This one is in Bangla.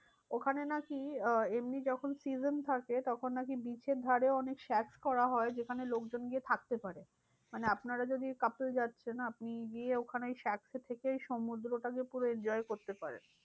ওখানে নাকি আহ এমনি যখন season থাকে তখন নাকি beach এর ধারে অনেক করা হয়। যেখানে লোকজন গিয়ে থাকতে পারে। মানে আপনারা যদি couple যাচ্ছেন আপনি গিয়ে ওখানে ওই থেকেই সমুদ্রটা পুরো enjoy করতে পারেন।